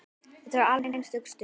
Þetta var alveg einstök stund.